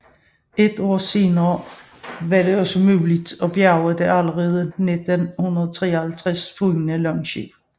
Et år senere var det også muligt at bjærge det allerede 1953 fundne langskib